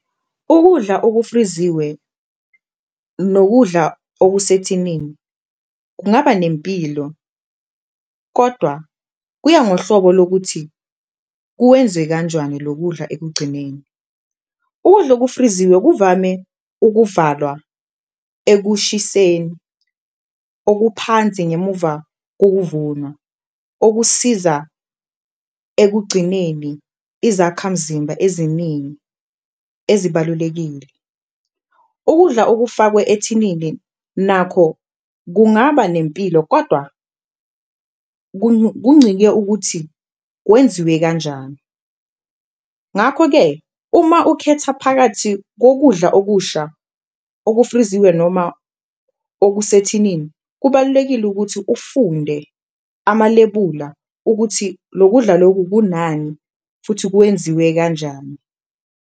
Ukudla okufriziwe nokudla okusethinini kungaba nempilo kodwa kuya ngohlobo lokuthi kuwenze kanjwani lo kudla ekugcineni, ukudla okufriziwe kuvame ukuvalwa ekushiseni okuphansi ngemuva kokuvunwa, okusiza ekugcineni izakhamzimba eziningi ezibalulekile. Ukudla okufakwe ethinini nakho kungaba nempilo kodwa kuncike ukuthi kwenziwe kanjani, ngakho-ke uma ukhetha phakathi kokudla okusha okufriziwe noma okusethinini. Kubalulekile ukuthi ufunde amalebula ukuthi lo kudla loku kunani futhi kwenziwe kanjani.